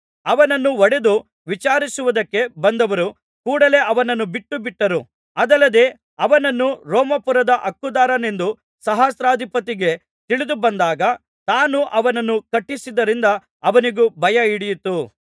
ಅವನನ್ನು ಹೊಡೆದು ವಿಚಾರಿಸುವುದಕ್ಕೆ ಬಂದವರು ಕೂಡಲೆ ಅವನನ್ನು ಬಿಟ್ಟುಬಿಟ್ಟರು ಅದಲ್ಲದೆ ಅವನನ್ನು ರೋಮಾಪುರದ ಹಕ್ಕುದಾರನೆಂದು ಸಹಸ್ರಾಧಿಪತಿಗೆ ತಿಳಿದುಬಂದಾಗ ತಾನು ಅವನನ್ನು ಕಟ್ಟಿಸಿದ್ದರಿಂದ ಅವನಿಗೂ ಭಯಹಿಡಿಯಿತು